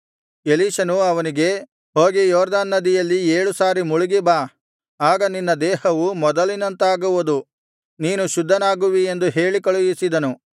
ಎಲೀಷನು ಅವನಿಗೆ ಹೋಗಿ ಯೊರ್ದನ್ ನದಿಯಲ್ಲಿ ಏಳು ಸಾರಿ ಮುಳುಗಿ ಬಾ ಆಗ ನಿನ್ನ ದೇಹವು ಮೊದಲಿನಂತಾಗುವುದು ನೀನು ಶುದ್ಧನಾಗುವಿ ಎಂದು ಹೇಳಿ ಕಳುಹಿಸಿದನು